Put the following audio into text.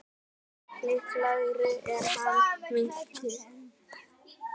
Líklegra er að hann minnki.